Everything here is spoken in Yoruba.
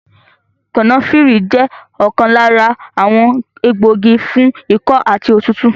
Kànáfìrì jẹ́ ọ̀kan lára àwọn egbògi fún ikọ́ àti òtútù